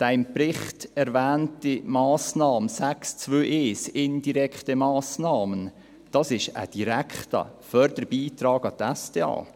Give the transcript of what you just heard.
Die im Bericht erwähnte Massnahme 6.2.1, «indirekte Massnahmen», ist ein direkter Förderbeitrag an die SDA.